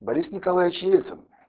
борис николаевич ельцин